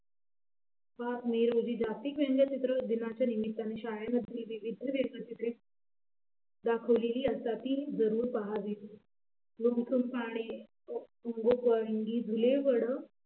जागतिक व्यंगचित्र दिनाच्या निमित्याने शाळेमध्ये विविध व्यंगचित्रे दाखवलेली असतात ते जरूर पहावी